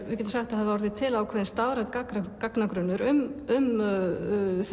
við getum sagt að það hafi orðið til stafrænn gagnagrunnur um